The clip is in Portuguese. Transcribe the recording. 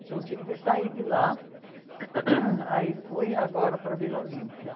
Então tive que sair de lá, aí fui agora para Vila Olímpia.